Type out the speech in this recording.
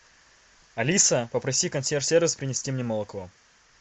алиса попроси консьерж сервис принести мне молоко